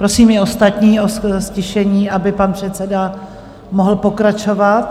Prosím i ostatní o ztišení, aby pan předseda mohl pokračovat.